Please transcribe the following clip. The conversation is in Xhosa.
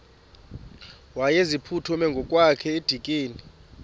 wayeziphuthume ngokwakhe edikeni